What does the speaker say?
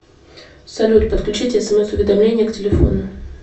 салют подключите смс уведомления к телефону